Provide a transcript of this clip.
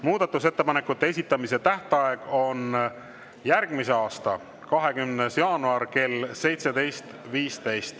Muudatusettepanekute esitamise tähtaeg on järgmise aasta 20. jaanuar kell 17.15.